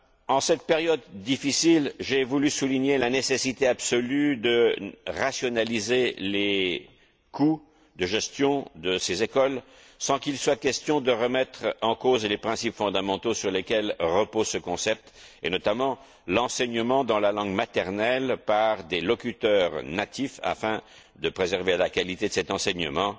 En cette période difficile, j'ai voulu souligner la nécessité absolue de rationaliser les coûts de gestion de ces écoles, sans qu'il soit question de remettre en cause les principes fondamentaux sur lesquels repose ce concept, et notamment l'enseignement dans la langue maternelle par des locuteurs natifs, afin de préserver la qualité de cet enseignement.